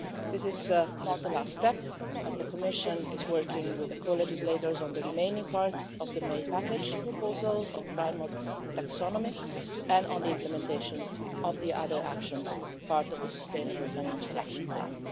This is not the last step as the Commission is working with the co legislators on the remaining part of the May package proposal on climate taxonomy and on the implementation of the other actions part of the Sustainable Financial Action Plan.